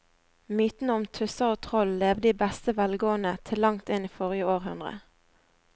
Mytene om tusser og troll levde i beste velgående til langt inn i forrige århundre.